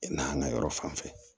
Nahana yɔrɔ fan fɛ